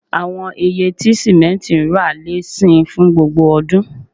Awọn iye ti simenti ra le sin fun gbogbo odun